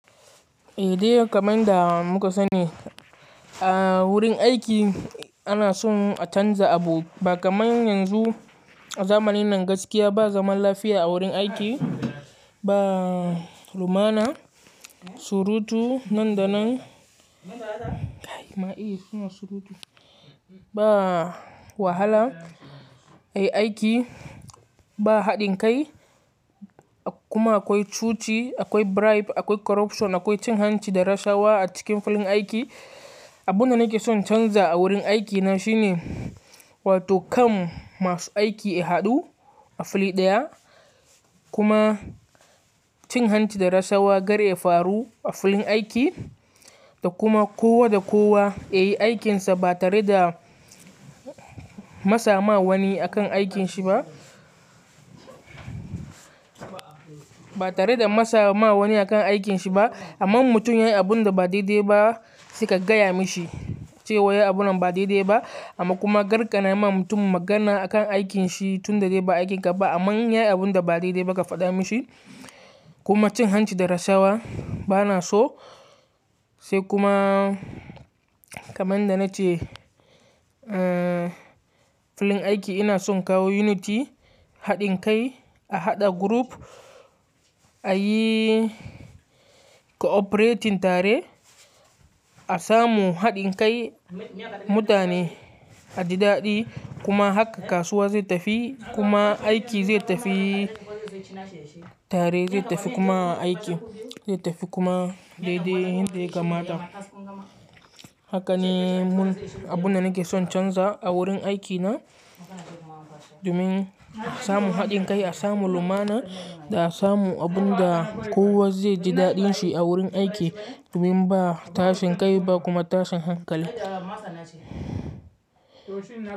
Eh dai kaman da muka sani a wurin aiki ana son a canza abu ba kaman yanzu. A zamanin nan gaskiya ba zaman lafiya a wurin aiki, ba lumana, surutu nan da nan. Ma eh suna surutu. Ba wahala a yi aiki, ba haɗin kai kuma akwai cuci, akwai bribe, akwai corruption, akwai cin hanci da rashawa a cikin filin aiki. Abunda nake son in canza a wurin aikina shine, wato kan masu aiki ya haɗu a fili ɗaya kuma cin hanci da rashawa kar ya faru a filin aiki da kuma kowa da kowa ya yi aikinsa ba tare da matsa ma wani akan aikinshi ba. Ba tare da matsa ma wani akan aikinshi ba. Amma in mutum yayi abunda ba daidai ba saik gaya mishi cewa ya yi abunan ba daidai ba amma kuma karkana ma mutum magana akan aikinshi tunda dai ba aikin ka ba. Amma in yayi abunda ba daidai ba ka faɗa mishi kuma cin hanci da rashawa bana so. Sai kuma kaman da nace filin aiki ina son in kawo unity, haɗin kai, a haɗa group ayi cooperating tare. A samu haɗin kai, mutane a ji daɗi kuma haka kasuwa zai tafi kuma aiki zai tafi tare, zai tafi kuma aiki zai tafi kuma daidai yan da ya kamata. Haka ne mun abunda nake son in canza a wurin aikina domin a samu haɗin kai, a samu lumana da a samu abunda kowa zai ji daɗinshi a wurin aiki domin ba tashin kai ba kuma tashin hankali.